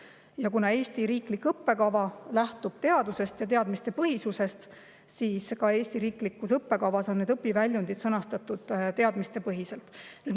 Ja kuna Eesti riiklik õppekava lähtub teadusest ja teadmistepõhisusest, siis on ka Eesti riiklikus õppekavas õpiväljundid sõnastatud teadmistepõhiselt.